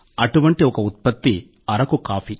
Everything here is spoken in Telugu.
అటువంటి ఒక ఉత్పత్తి అరకు కాఫీ